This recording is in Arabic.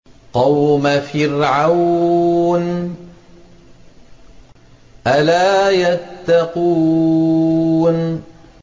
قَوْمَ فِرْعَوْنَ ۚ أَلَا يَتَّقُونَ